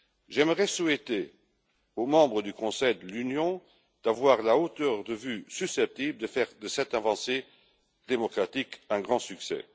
J'aimerais souhaiter aux membres du Conseil de l'Union d'avoir la hauteur de vues susceptible de faire de cette avancée démocratique un grand succès.